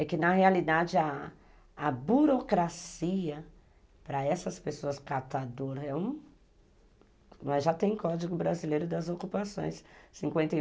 É que na realidade a burocracia para essas pessoas catadoras é um... Nós já temos o Código Brasileiro das Ocupações, cinquenta e um